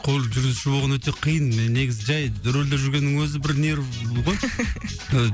көлік жүргізуші болған өте қиын мен негізі жай рөлде жүргеннің өзі бір нерві ғой